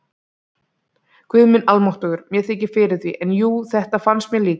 Guð minn almáttugur, mér þykir fyrir því, en jú, þetta fannst mér líka